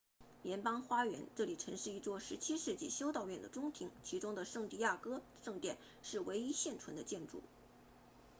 联盟花园 jardín de la unión 这里曾是一座17世纪修道院的中庭其中的圣地亚哥圣殿是唯一现存的建筑